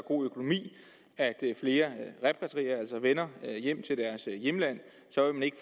god økonomi i at flere repatrierer altså vender hjem til deres hjemlande så vil man ikke